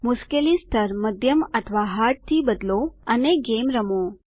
મુશ્કેલી સ્તર મધ્યમ અથવા હાર્ડ થી બદલો અને ગેમ રમો